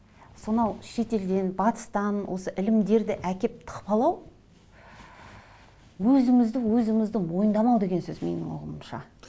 сонау шетелден батыстан осы ілімдерді әкеліп тықпалау өзімізді өзімізді мойындамау деген сөз менің ұғымымша